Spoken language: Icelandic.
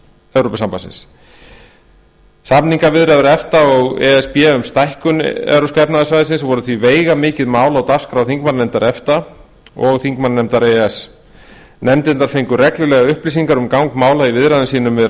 evrópusambandsins samningaviðræður efta og e s b um stækkun evrópska efnahagssamningins voru því veigamikið mál á dagskrá þingmannanefndar efta og þingmannanefndar e e s nefndirnar fengu reglulega upplýsingar um gang mála í viðræðum sínum við